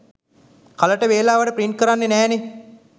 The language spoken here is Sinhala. කලට වේලාවට ප්‍රින්ට් කරන්නෙ නෑනෙ